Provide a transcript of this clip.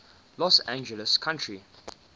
los angeles county